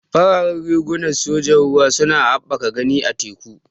Fararen riguna na sojan ruwa suna haɓaka gani a teku.